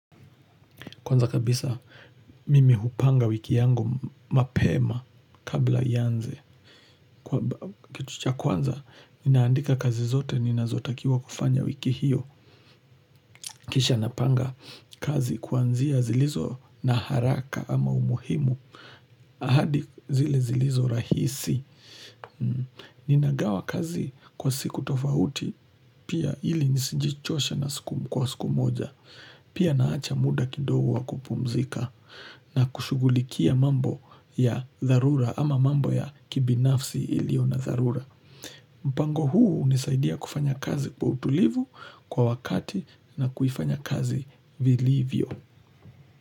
Kwanza kabisa, mimi hupanga wiki yangu mapema kabla ianze. Kitu cha kwanza, ninaandika kazi zote, ninazotakiwa kufanya wiki hiyo. Kisha napanga kazi kwanzia zilizo na haraka ama umuhimu. Ahadi zile zilizo rahisi. Ninagawa kazi kwa siku tofauti, pia ili nisijichoshe kwa siku moja. Pia naacha muda kidogo wa kupumzika. Na kushughulikia mambo ya dharura ama mambo ya kibinafsi ilio na dharura mpango huu hunisaidia kufanya kazi kwa utulivu, kwa wakati na kuifanya kazi vilivyo.